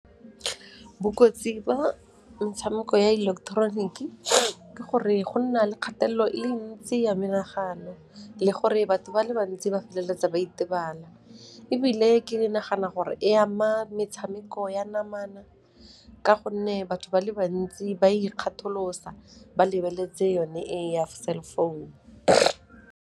Bokotsi ba metshameko ya ileketeroniki ke gore go nna le kgatelelo e le ntsi ya menagano le gore batho ba le bantsi ba feleletsa ba itebala ebile ke nagana gore e ama metshameko ya namana ka gonne batho ba le bantsi ba ikgatholosa, ba lebeletse yone e ya cell phone.